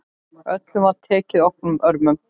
Öllum var tekið opnum örmum.